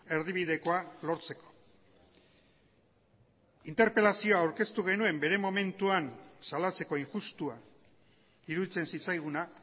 erdibidekoa lortzeko interpelazioa aurkeztu genuen bere momentuan salatzeko injustua iruditzen zitzaiguna